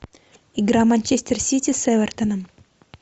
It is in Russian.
игра манчестер сити с эвертоном